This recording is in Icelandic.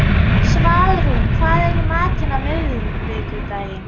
Svalrún, hvað er í matinn á miðvikudaginn?